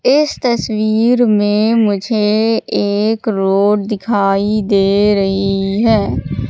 इस तस्वीर में मुझे एक रोड दिखाई दे रही है।